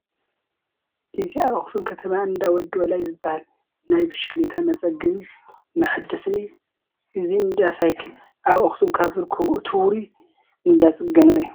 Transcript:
እዚ ኣብ ኣኽሱም ከተማ እንዳ ወዲ ወላይ ዝበሃል ናይ ብሽክሌታ መፀገንን መሓደስን እዩ፡፡ እዚ እንዳ ሳይክል ኣብ ኣኽሱም ካብ ዝርከቡ እቲ ውሩይ እንዳ ፅገና እዩ፡፡